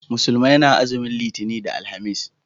Musulmai na azumin litani da alhamis